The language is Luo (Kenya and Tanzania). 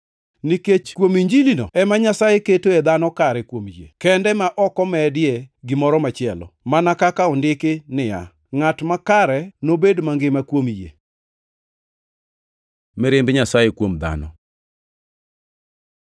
Nikech kuom Injilino ema Nyasaye ketoe dhano kare kuom yie kende ma ok omedie gimoro machielo, mana kaka ondiki niya, “Ngʼat makare nobed mangima kuom yie.” + 1:17 \+xt Hab 2:4\+xt* Mirimb Nyasaye kuom dhano